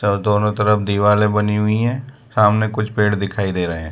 और दोनों तरफ दिवाले बनी हुई है सामने कुछ पेड़ दिखाई दे रहे --